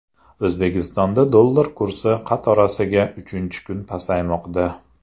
O‘zbekistonda dollar kursi qatorasiga uchinchi kun pasaymoqda .